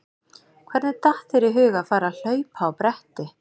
Hvernig datt þér í hug að fara að hlaupa á bretti?